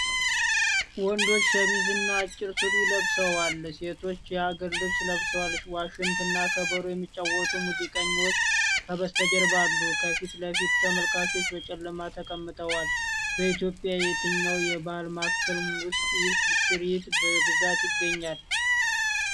ወንዶቹ ሸሚዝ እና አጭር ሱሪ ለብሰዋል፤ ሴቶቹም የሀገር ልብስ ለብሰዋል። ዋሽንት እና ከበሮ የሚጫወቱ ሙዚቀኞች ከበስተጀርባ አሉ። ከፊት ለፊት ተመልካቾች በጨለማ ተቀምጠዋል። በኢትዮጵያ የትኛው የባህል ማዕከል ውስጥ ይህ ትርኢት በብዛት ይገኛል?